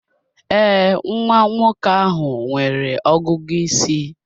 Ee, nwa nwoke ahụ nwere ọgụgụ isi.